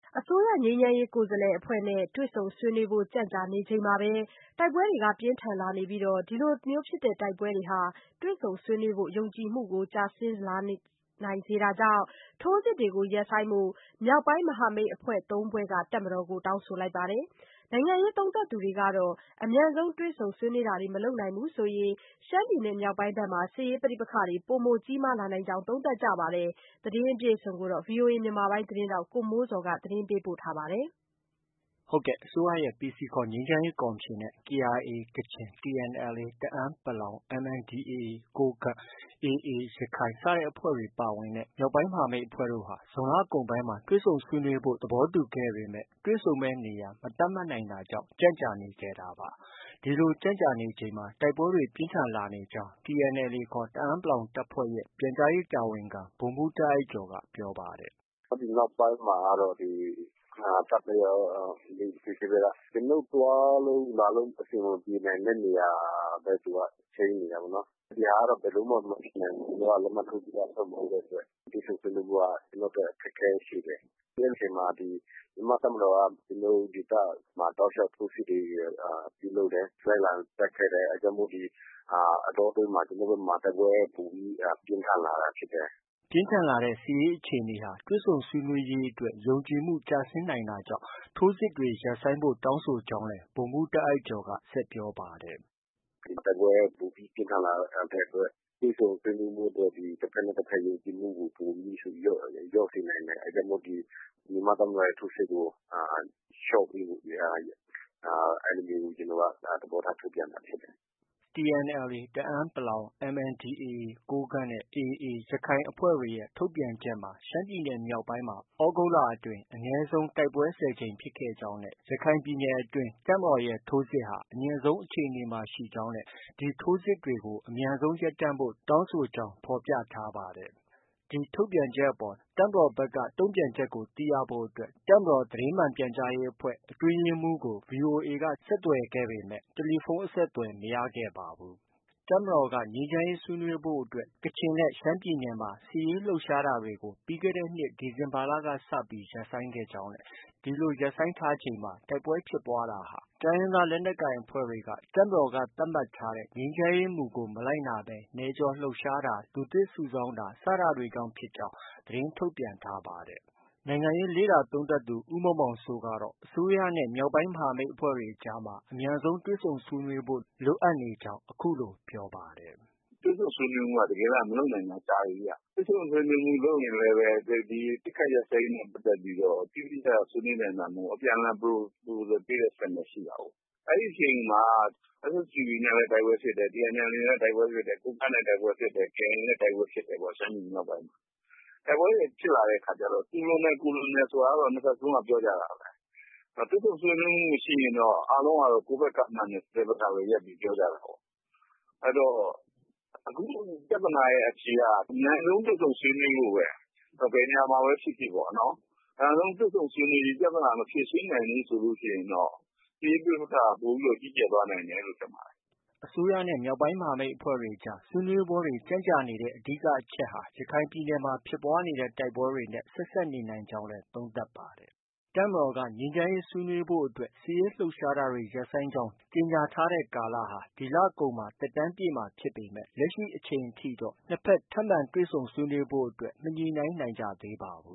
အစိုးရငြိမ်းချမ်းရေးကိုယ်စားလှယ်အဖွဲ့နဲ့ တွေ့ဆုံဆွေးနွေးဖို့ ကြန့်ကြာနေချိန်မှာ တိုက်ပွဲတွေ ပြင်းထန်လာနေပြီးဒီလို တိုက်ပွဲတွေ ဟာ တွေ့ဆုံဆွေးနွေးဖို့ ယုံကြည်မှုကျဆင်းလာနိုင်တာကြောင့် ထိုးစစ်တွေရပ်ဆိုင်းဖို့ မြောက်ပိုင်းမဟာမိတ်အဖွဲ့ ၃ ဖွဲ့က တပ်မတော်ကို တောင်းဆိုလိုက်ပါတယ်။ နိုင်ငံရေးသုံးသပ်သူတွေကတော့ အမြန်ဆုံးတွေ့ဆုံဆွေးနွေးတာတွေ မလုပ်နိုင်ရင် ရှမ်းပြည်နယ်မြောက်ပိုင်းမှာ စစ်ရေးပဋိပက္ခတွေ ပိုမိုကြီးမားလာနိုင်ကြောင်း သုံးသပ်ကြပါတယ်။ ဒီသတင်းကိုတော့ ဗီအိုအေ မြန်မာပိုင်းရဲ့ သတင်းထောက် ကိုမိုးဇော်က တင်ပြထားပါတယ်။ အစိုးရ PC ခေါ် ငြိမ်းချမ်းရေးကော်မရှင်နဲ့ KIA ကချင်၊ TNLA တအန်း(ပလောင်)၊ MNDAA ကိုးကန့်၊AA ရခိုင်အဖွဲ့တွေ ပါဝင်တဲ့ မြောက်ပိုင်းမဟာမိတ်အဖွဲ့တို့ဟာ ဇွန်လကုန်ပိုင်းမှာ တွေ့ဆုံဆွေးနွေးဖို့ သတ်မှတ်ခဲ့ပေမဲ့ တွေ့ဆုံမယ်နေရာ မသတ်မှတ် နိုင်တာကြောင့် ကြန့်ကြာနေခဲ့တာပါ။ ဒီလို ကြန့်ကြာနေချိန် တိုက်ပွဲတွေ ပြင်းထန်လာနေကြောင်း TNLA ခေါ် တအန်း(ပလောင်) တပ်ဖွဲ့ရဲ့ ပြန်ကြားရေးတာဝန်ခံ ဗိုလ်မှူးတားအိုက်ကျော်က ပြောပါတယ်။ “ဒီနောက်ပိုင်းမှာကတော့ ဒီ တပ်ဘက်ကရော၊ PC ရောက ကျနော်တို့ သွားလို့ လာလို့ အဆင်မပြေနိုင်တဲ့နေရာပဲ သူက ချိန်းနေ တာပေါ့နော်။ ဒီဟာကတော့ ဘယ်လိုမှ မဖြစ်နိုင်ဘူး။ ကျနော်တို့က လက်မှတ်ထိုးပြီးသားအဖွဲ့ မဟုတ်တဲ့အတွက် တွေဆုံဆွေးနွေး မှုက ကျနော်တို့အတွက် အခက်အခဲရှိတယ်။ အဲဒီအချိန်မှာ ဒီ မြန်မာ့တပ်မတော်က ကျနော်တို့ ဒေသမှာ တောက်လျောက် ထိုးစစ်တွေ ပြုလုပ်တယ်။ လိုက်လံတိုက်ခိုက်တယ်။ အဲဒါကြောင့် ဒီအတောအတွင်းမှာ ကျနော်တို့ဘက်မှာ တိုက်ပွဲ ပိုပြီး ပြင်းထန် လာတာဖြစ်တယ်။” ပြင်းထန်လာတဲ့ စစ်ရေးအခြေအနေဟာ တွေ့ဆုံဆွေးနွေးရေး အတွက် ယုံကြည်မှု ကျဆင်းနိုင်တာကြောင့် ထိုးစစ်တွေ ရပ်ဆိုင်းဖို့တောင်းဆိုကြောင်းလည်း ဗိုလ်မှူးတားအိုက်ကျော်က ဆက်ပြောပါတယ်။ “ဒီ တိုက်ပွဲ ပိုပြီး ပြင်းထန်လာတဲ့အတွက် တွေ့ဆုံဆွေးနွေးရေးမှာ တဘက်နဲ့ တဘက်ယုံကြည်မှုကို ပိုပြီး လျော့စေနိုင်တယ်။ အဲဒါကြောင့်မို့ ဒီ မြန်မာ့တပ်မတော်ရဲ့ ထိုးစစ်ကို လျော့ပေးဖို့ ကျနော်တို့က အဲလိုမျိုး ကျနော်တို့က သဘောထားထုတ်ပြန်တာဖြစ်တယ်။ ” TNLA တအန်း(ပလောင်)၊ MNDAA ကိုးကန့်၊AA ရခိုင်အဖွဲ့တွေ ရဲ့ ထုတ်ပြန်ချက်မှာ ရှမ်းပြည်နယ်မြောက်ပိုင်းမှာ သြဂုတ်လ အတွင်း အနည်းဆုံး တိုက်ပွဲ ၁၀ ကြိမ်ဖြစ်ခဲ့ကြောင်းနဲ့ ရခိုင်ပြည်နယ်အတွင်း တပ်မတော်ရဲ့ထိုးစစ်ဟာ အမြင့်ဆုံးအခြေအနေမှာ ရှိကြောင်းနဲ့ ဒီထိုးစစ်တွေကို အမြန်ဆုံးရပ်တန့်ဖို့ တောင်းဆိုကြောင်း သူတို့ကြေညာချက်မှာ ဖော်ပြထားပါတယ်။ ဒီထုတ်ပြန်ချက်အပေါ် တပ်မတော်ဘက်က တုံ့ပြန်ချက်ကိုသိရဖို့ တပ်မတော် သတင်းမှန်ပြန်ကြားရေးအဖွဲ့ အတွင်းရေးမှူးကို ဗွီအိုအေက ဆက်သွယ်ပေမယ့် တယ်လီဖုန်းအဆက်အသွယ် မရခဲ့ပါဘူး။ တပ်မတော်ကတော့ ငြိမ်းချမ်းရေးဆွေးနွေးဖို့အတွက် ကချင်နဲ့ ရှမ်းပြည်နယ်မှာ စစ်ရေးလှုပ်ရှားတာတွေကို ပြီးခဲ့တဲ့ နှစ် ဒီဇင်ဘာလက စပြီး ရပ်ဆိုင်းခဲ့ကြောင်း၊ ဒီလိုရပ်ဆိုင်းထားချိန်မှာ တိုက်ပွဲဖြစ်ပွားတာဟာ တိုင်းရင်းသားလက်နက်ကိုင်အဖွဲ့တွေက တပ်မတော်က သတ်မှတ်ထားတဲ့ ငြိမ်းချမ်းရေးမူကို မလိုက်နာဘဲ နယ်ကျော်လှုပ်ရှားတာ၊ လူသစ်စုဆောင်းတာစတာတွေကြောင့် ဖြစ်ကြောင်း သတင်းထုတ်ပြန်ထားပါတယ်။ နိုင်ငံရေးလေ့လာသုံးသပ်သူ ဦးမောင်မောင်စိုးကတော့ အစိုးရနဲ့ မြောက်ပိုင်းမဟာမိတ်အဖွဲ့တွေအကြားမှာ အမြန်ဆုံးတွေ့ဆုံဆွေးနွေးဖို့ လိုအပ်နေကြောင်း အခုလို ပြောပါတယ်။ “တွေ့ဆုံဆွေးနွေးရေးက တစ်ကယ်တမ်းက မလုပ်နိုင်တာကြာပြီဗျ။ တွေ့ဆုံဆွေးနွေးမှု လုပ်ရင်လည်းပဲ အပစ်အခတ်ရပ်စဲရေးနဲ့ပတ်သက်ပြီး အတိအကျ ဆွေးနွေးနိုင်တာ မဟုတ်ဘူး။ အပြန်အလှန် Proposal ပေးတဲ့အဆင့်ပဲ ရှိတာကိုး။ အဲဒီအချိန်မှာ SSPP နဲ့လည်း တိုက်ပွဲဖြစ်တယ်။ TNLA နဲ့လည်း တိုက်ပွဲဖြစ်တယ်။ ကိုးကန့်နဲ့ တိုက်ပွဲဖြစ်တယ်။ KIA နဲ့ တိုက်ပွဲဖြစ်တယ် ရှမ်းပြည်မြောက်ပိုင်းမှာပေါ့။ တိုက်ပွဲတွေ ဖြစ်လာတဲ့ အခါကျတော့ သူလွန်တယ် ကိုယ်လွန်တယ်ဆိုတာကတော့ နှစ်ဘက်စလုံးက ပြောကြတာပဲ။ တွေ့ဆုံဆွေးနွေးမှု မရှိရင်တော့ အားလုံးက ကိုယ်မှန်တယ်ဆိုတဲ့ဘက်ကပဲ ရပ်ပြီးပြောကြတာပေါ့။ အဲတော့ အခုပြဿနာရဲ့ အဖြေက အမြန်ဆုံးတွေ့ဆုံဆွေးနွေးဖို့ပဲ။ ဘယ်နေရာမှာပဲ ဖြစ်ဖြစ်ပေါ့နော်။ အမြန်ဆုံး တွေ့ဆုံဆွေးနွေးပြီး ပြဿနာ မဖြေရှင်းနိုင်ဘူးဆိုရင်တော့ စစ်ရေးပဋိပက္ခက ပိုပြီး ကြီးကျယ်သွားနိုင်တယ်လို့ ထင်ပါတယ်။” အစိုးရနဲ့ မြောက်ပိုင်းမဟာမိတ်အဖွဲ့တွေအကြား ဆွေးနွေးပွဲတွေ ကြန့်ကြာနေတဲ့ အဓိကအချက်ဟာ ရခိုင်ပြည်နယ်မှာ ဖြစ်ပွားနေတဲ့ တိုက်ပွဲတွေနဲ့ ဆက်စပ်နေနိုင်ကြောင်းလည်း သုံးသပ်ပါတယ်။ တပ်မတော်က ငြိမ်းချမ်းရေးဆွေးနွေးဖို့အတွက် စစ်ရေးလှုပ်ရှားတာတွေ ရပ်ဆိုင်းကြောင်း ကြေညာထားတဲ့ ကလာလဟာ ဒီလကုန်မှာ သက်တမ်းပြည့်မှာဖြစ်ပေမဲ့ လက်ရှိအချိန်ထိတော့ နှစ်ဘက် ထပ်မံတွေ့ဆုံ ဆွေးနွေးဖို့ကို မညှိနှိုင်းနိုင်ကြသေးပါဘူး။